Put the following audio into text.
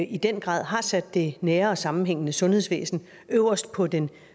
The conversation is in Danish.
i den grad har sat det nære og sammenhængende sundhedsvæsen øverst på den